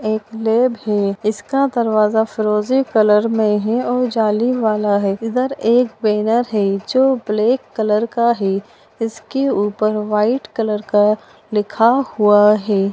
एक लैब है इसका दरवाजा फिरोजी कलर में है और जाली वाला है इधर एक बैनर है जो ब्लैक कलर का है इसके ऊपर व्हाइट कलर का लिखा हुआ है।